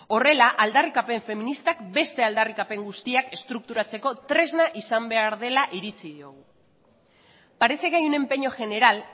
horrela aldarrikapen feministak beste aldarrikapen guztiak estrukturatzeko tresna izan behar dela iritzi diogu parece que hay un empeño general